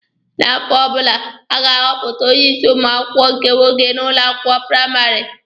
N'afọ ọbụla, a ga-ahọpụta onye isi ụmụ akwụkwọ nke nwoke n'ụlọ akwụkwọ praịmarị.